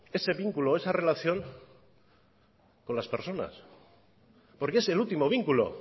ese vínculo o esa relación con las personas porque es el último vínculo